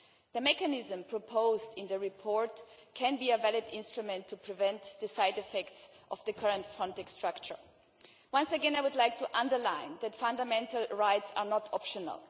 The mechanism proposed in the report could be a valid instrument to prevent the side effects of the current Frontex structure. Once again, I would like to underline that fundamental rights are not optional.